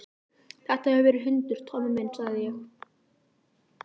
Þetta hefur verið hundur, Tommi minn, sagði ég.